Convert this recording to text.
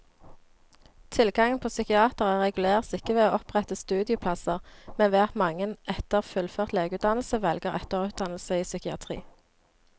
Tilgangen på psykiatere reguleres ikke ved å opprette studieplasser, men ved at mange etter fullført legeutdannelse velger etterutdannelse i psykiatri.